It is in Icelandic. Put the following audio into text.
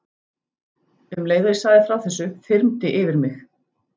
Um leið og ég sagði frá þessu þyrmdi yfir mig.